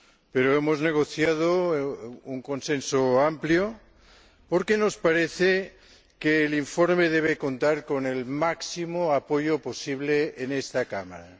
Pero hemos negociado un consenso amplio porque nos parece que el informe debe contar con el máximo apoyo posible en esta Cámara.